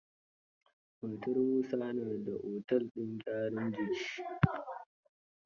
Matar Musa na da otel din gyaran jiki.